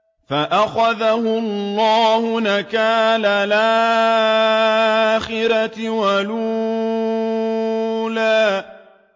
فَأَخَذَهُ اللَّهُ نَكَالَ الْآخِرَةِ وَالْأُولَىٰ